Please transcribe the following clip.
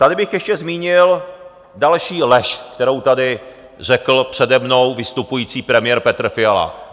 Tady bych ještě zmínil další lež, kterou tady řekl přede mnou vystupující premiér Petr Fiala.